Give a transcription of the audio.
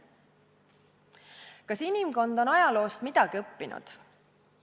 Kas inimkond on ajaloost midagi õppinud?